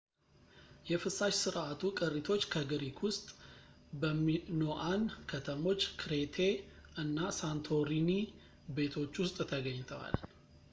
የፍሳሽ ስርዓቱ ቅሪቶች በግሪክ ውስጥ በሚኖኣን ከተሞች ክሬቴ እና ሳንቶሪኒ ቤቶች ውስጥ ተገኝተዋል